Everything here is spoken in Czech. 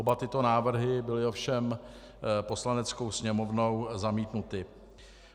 Oba tyto návrhy byly ovšem Poslaneckou sněmovnou zamítnuty.